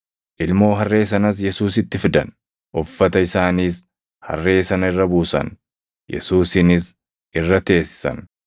Ilmoo harree sanas Yesuusitti fidan; uffata isaaniis harree sana irra buusan; Yesuusinis irra teessisan.